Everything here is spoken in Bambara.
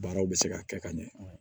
Baaraw bɛ se ka kɛ ka ɲɛ